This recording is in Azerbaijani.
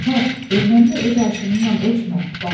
Arvad, ermənini öz arşınnan ölçmə, baba dedi.